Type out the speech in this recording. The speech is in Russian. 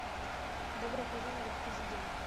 добро пожаловать президент